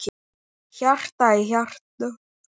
Hjarta í hjarta.